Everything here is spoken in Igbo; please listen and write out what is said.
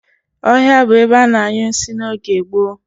Ohia bu ebe a na-anyu nsi n'oge gboo.